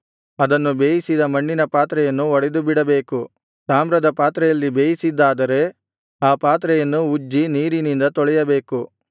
ಅದನ್ನು ಬೇಯಿಸಿದ ಮಣ್ಣಿನ ಪಾತ್ರೆಯನ್ನು ಒಡೆದುಬಿಡಬೇಕು ತಾಮ್ರದ ಪಾತ್ರೆಯಲ್ಲಿ ಬೇಯಿಸಿದ್ದಾದರೆ ಆ ಪಾತ್ರೆಯನ್ನು ಉಜ್ಜಿ ನೀರಿನಿಂದ ತೊಳೆಯಬೇಕು